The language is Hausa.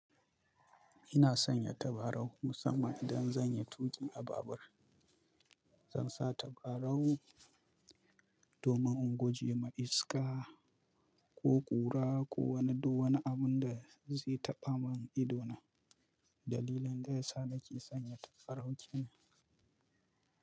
Ina sanya tabarau musamman idan zan yi tuƙi a babur. Zan sa tabarau domin in guje ma iska ko ƙura ko wani duk wani abun da zai taɓa mun ido na, dalilin da yasa nake sanya tabarau kenan.